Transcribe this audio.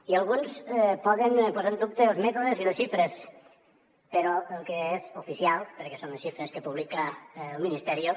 i alguns poden posar en dubte els mètodes i les xifres però el que és oficial perquè són les xifres que publica el ministerio